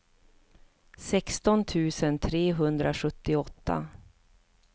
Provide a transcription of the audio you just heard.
sexton tusen trehundrasjuttioåtta